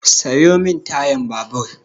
Sayo min tayan babur!